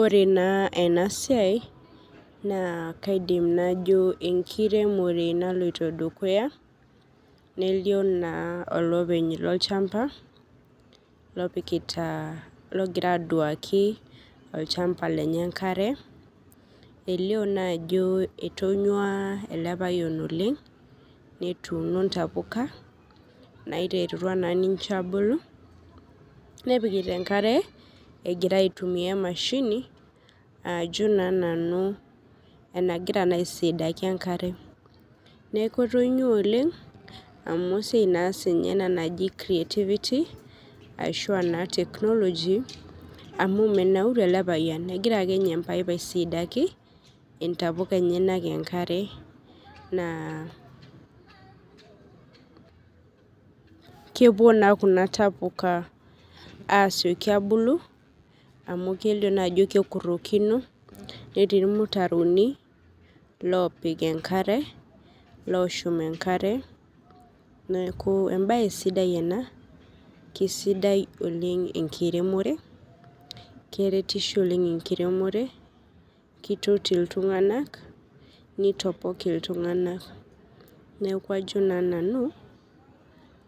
Ore naa enasiai naa kaidim najo enkiremore naloito dukuya nelio naa olopeny lolchamba lopikitaa, logira aduaki olchamba lenye enkare, elio naajo etonyuaa ele payian oleng' netuuno ntapuka naiterutua naa ninche aabulu, nepikita enkare agira aitumia emashini aajo naa nanu enagira naa aisidaki enkare. Neaku etonyuaa oleng' amu esiai naa siinye ena naji creativity ashuaa naa teknoloji amu menauru ele payian egira akeinye empaip aisidaaki intapuka enyanak enkare naa kepuo naa kuna tapuka aasioki abulu amu kelio naajo kukurrokino netii ilmutaroni loopik enkare, looshum enkare neaku embaye sidai oleng' ena, keisidai oleng' enkiremore, keretisho oleng' enkiremore, keitoti iltung'anak, neitopok iltung'ana neaku ajo naa nanu